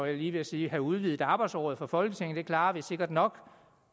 jeg lige ved at sige have udvidet arbejdsåret for folketinget det klarer vi sikkert nok